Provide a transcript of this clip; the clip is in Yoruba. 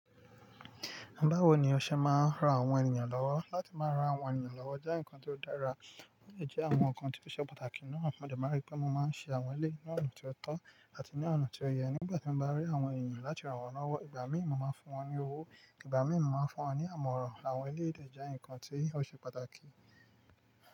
Báwo ni ọṣẹ máa ń ran àwọn ènìyàn lọ́wọ́? Láti máa ran àwọn ènìyàn lọ́wọ́ jẹ́ nǹkan tó dára, ó lè jẹ́ àwọn nǹkan tí ó ṣe pàtàkì náà. Mo de má n rí pé mo máa ń ṣe àwọn ilé ní ọ̀nà tí ó tọ́ àti ní ọ̀nà tí ó yẹ. Nígbà tí mo bá rí àwọn ènìyàn láti rán wọn lọ́wọ́, ìgbà mí ì mo máa ń fún wọn ní owó, ìgbà mí ì mo máa ń fún wọn ní àmọ̀ràn. Àwọn ilé èdè jẹ́ nǹkan tí ó ṣe pàtàkì.